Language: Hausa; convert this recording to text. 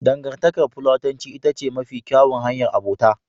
Dangantakar Platonci ita ce mafi kyawun hanyar abota.